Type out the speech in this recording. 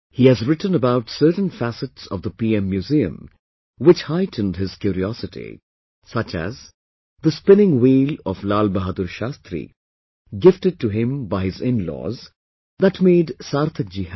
He has written about certain facets of the PM Museum which heightened his curiosity such as the spinning wheel of Lal Bahadur Shastri, gifted to him by his inlaws, that made Sarthak ji happy